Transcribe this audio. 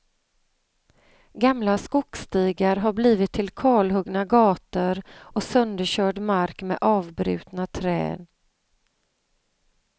Gamla skogsstigar har blivit till kalhuggna gator och sönderkörd mark med avbrutna träd.